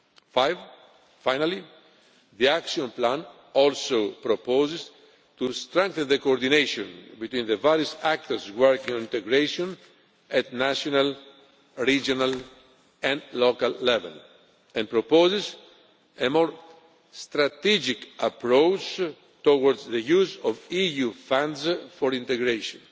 health. Fifthly, and finally, the action plan also proposes to strengthen the coordination between the various actors working on integration at national, regional and local level and proposes a more strategic approach towards the use of EU funds for integration,